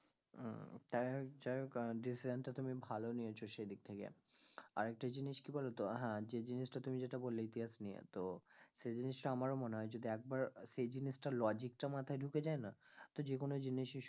উম যাইহোক যাইহোক আহ decision টা তুমি ভালো নিয়েছো সেইদিক থেকে, আর একটা জিনিস কি বলতো, আহ হ্যাঁ যে জিনিস টা তুমি যেটা বললে ইতিহাস নিয়ে তো সেই জিনিস টা আমার ও মনে হয় যদি একবার আহ সেই জিনিস টার logic টা মাথায় ঢুকে যায় না, তো যেকোনো জিনিস ই স~